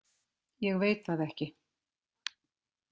Ég veit það ekki.